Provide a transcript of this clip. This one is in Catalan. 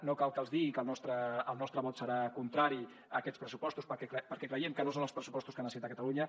no cal que els digui que el nostre vot serà contrari a aquests pressupostos perquè creiem que no són els pressupostos que necessita catalunya